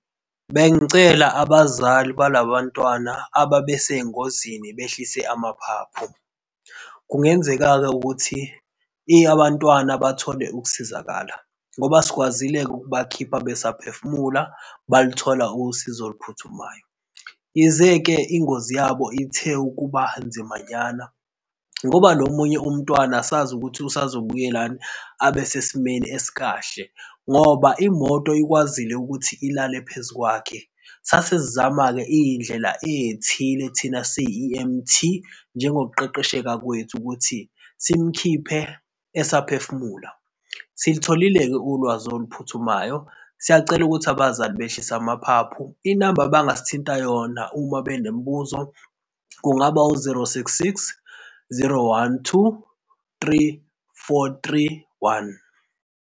Bengicela abazali bala bantwana ababesengozini behlise amaphaphu. Kungenzeka-ke ukuthi abantwana bathole ukusizakala ngoba sikwazile-ke ukubakhipha besa phefumulela, baluthola usizo oluphuthumayo. Yize-ke ingozi yabo ithe ukuba nzimanyana ngoba lo omunye umntwana asazi ukuthi usazobuyala yini abesesimeni esikahle ngoba imoto ikwazile ukuthi ilale phezu kwakhe. Sasesizama-ke izindlela ezithile thina si yi-E_M_T njengo kuqeqesheka kwethu ukuthi simkhiphe esaphefumula. Silitholile-ke ulwazi oluphuthumayo. Siyacela ukuthi abazali behlise amaphaphu inamba abangasithinta yona uma benemibuzo kungaba u-zero, six, six, zero, one, two, three, four, three, one.